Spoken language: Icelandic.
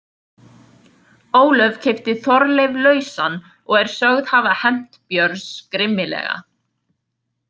Ólöf keypti Þorleif lausan og er sögð hafa hefnt Björns grimmilega.